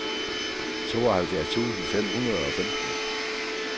tooghalvfjerds tusind fem hundrede og femten